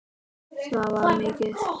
Það var mikið.